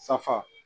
Safa